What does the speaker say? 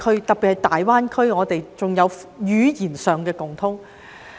特別是在大灣區，我們更有語言上的共通。